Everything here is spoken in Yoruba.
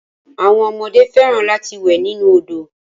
Àwọn ọmọdé fẹ́ràn lati wẹ̀ nínu òdo.